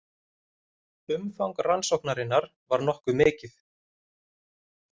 Umfang rannsóknarinnar var nokkuð mikið